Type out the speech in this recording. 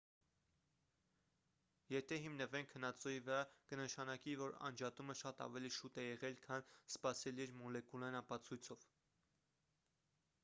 եթե հիմնվենք հնածոյի վրա կնշանակի որ անջատումը շատ ավելի շուտ է եղել քան սպասելի էր մոլեկուլային ապացույցով